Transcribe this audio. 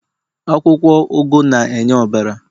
akwukwo ugu na-enye ọbara